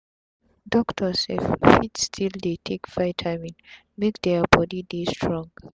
doctor sef fit still dey take vitamin make dia body dey strong